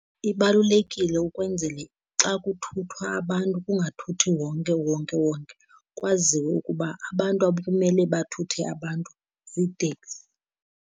Ibalulekile ukwenzele xa kuthuthwa abantu kungathuthi wonke uwonke wonke, kwaziwe ukuba abantu abamele bathuthe abantu ziiteksi.